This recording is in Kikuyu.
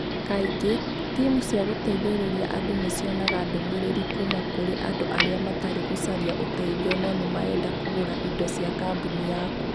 Kaingĩ, timũ cia gũteithĩrĩria andũ nĩ cionaga ndũmĩrĩri kuuma kũrĩ andũ arĩa matarĩ gũcaria ũteithio no nĩ marenda kũgũra indo cia kambuni yaku.